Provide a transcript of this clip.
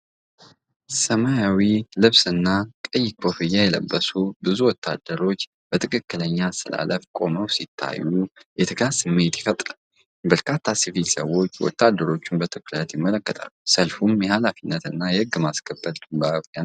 ሰማያዊ ልብስና ቀይ ኮፍያ የለበሱ ብዙ ወታደሮች በትክክለኛ አሰላለፍ ቆመው ሲታዩ የትጋት ስሜት ይፈጥራል። በርካታ ሲቪል ሰዎች ወታደሮቹን በትኩረት ይመለከታሉ፤ ሰልፉም የኃላፊነትና የሕግ ማስከበር ድባብ ያንጸባርቃል።